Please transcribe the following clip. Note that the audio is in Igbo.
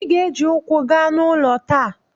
Ị ga-eji ụkwụ gaa n'ụlọ taa!